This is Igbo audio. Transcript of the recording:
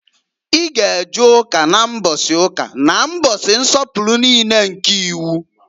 I g' e je Ụka na mbọsị ụka na mbọsị nsọpụlụ niine nke iwu!